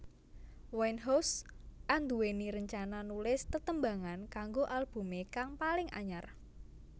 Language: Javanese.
Winehouse anduwèni rencana nulis tetembangan kanggo albumé kang paling anyar